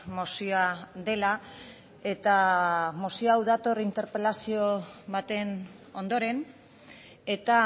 mozioa dela eta mozio hau dator interpelazio baten ondoren eta